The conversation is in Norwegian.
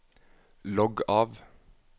logg av